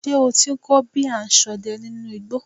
Ṣé o ti ń kọ́ bí a ṣ ń sọdẹ nínú igbó?